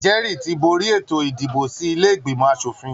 Jẹ́rì ti borí ètò ìdìbò sí ilé ìgbìmọ aṣòfin